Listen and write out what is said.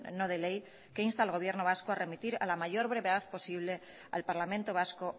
no de ley que insta al gobierno vasco a remitir a la mayor brevedad posible al parlamento vasco